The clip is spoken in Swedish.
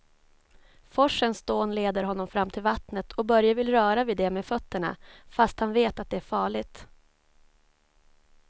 Forsens dån leder honom fram till vattnet och Börje vill röra vid det med fötterna, fast han vet att det är farligt.